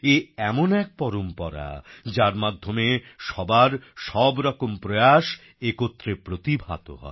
এ এমন এক পরম্পরা যার মধ্যে সবার সবরকম প্রয়াস একত্রে প্রতিভাত হয়